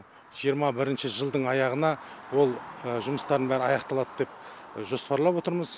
жиырма бірінші жылдың аяғына ол жұмыстардың бәрі аяқталады деп жоспарлап отырмыз